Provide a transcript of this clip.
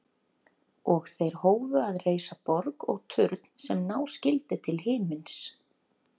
Og þeir hófu að reisa borg og turn sem ná skyldi til himins.